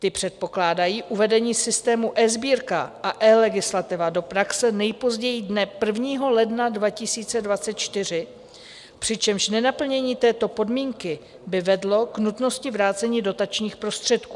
Ty předpokládají uvedení systému eSbírka a eLegislativa do praxe nejpozději dne 1. ledna 2024, přičemž nenaplnění této podmínky by vedlo k nutnosti vrácení dotačních prostředků.